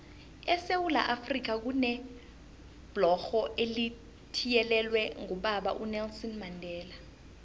esewula afrika kunebhlorho elithiyelelwe ngobaba unelson mandela